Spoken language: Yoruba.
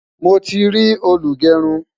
mọ tí rí olugerun